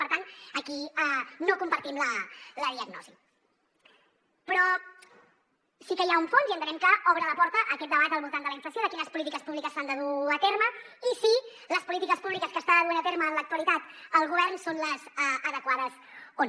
per tant aquí no compartim la diagnosi però sí que hi ha un fons i entenem que obre la porta a aquest debat al voltant de la inflació de quines polítiques públiques s’han de dur a terme i si les polítiques públiques que està duent a terme en l’actualitat el govern són les adequades o no